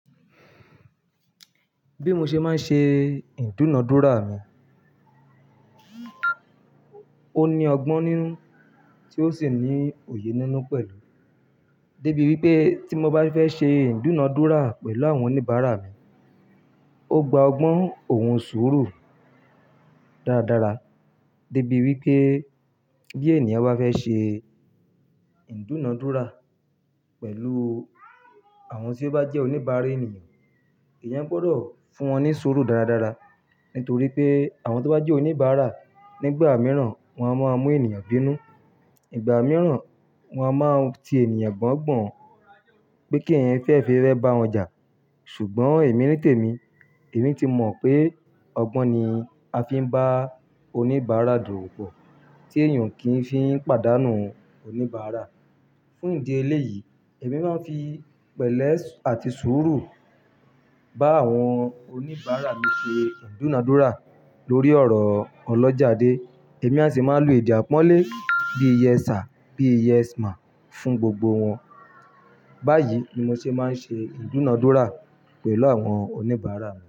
Bí mo ṣe máa ń ṣe ìdúnadúrà mi, ó ní ọgbọ́n nínú tí ó sì ní òye nínú pẹ̀lú. Débi wípé tí mo bá fẹ́ ṣe ìdúnadúrà pẹ̀lú àwọn oníbàárà mi, ó gba ọgbọ́n òun sọ́rọ̀ dáradára. Débi wípé bí ènìyàn bá fẹ́ ṣe ìdúnadúrà pẹ̀lú àwọn tí ó bá jẹ́ oníbàárà ènìyàn, èèyàn gbọdọ̀ fún wọn ní sọ́rọ̀ dáradára. Nítorí pé àwọn tí ó bá jẹ́ oníbàárà nígbà mìíràn wọn a máa mú ènìyàn bínú, ìgbà mìíràn wọn a máa ti ènìyàn gbọ́nggbọ́n pé kí ẹ̀yan fẹe fifẹ́ bá wọn jà. Ṣùgbọ́n èmi nítèmi, èmi ti mọ̀ pé ọgbọ́n ni a fi ń bá oníbàárà dowopọ̀ tí èèyàn kì í fi ń pàdánù oníbàárà. Fún ìdí eléyìí, èmi máa ń fi pẹ̀lẹ́ àti suurọ̀ bá àwọn oníbàárà mi ṣe ìdúnadúrà lórí ọ̀rọ̀ ọlọ́jàde. Èmi a sì máa ń lo èdè àpọ́nlé bí i "Yes sir" bí i "Yes ma'am" fún gbogbo wọn. Báyìí ni mo ṣe máa ń ṣe ìdúnadúrà pẹ̀lú àwọn oníbàárà mi.